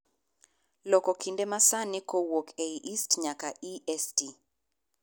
loko kinde ma sani kowuok e ist nyaka e. s. t.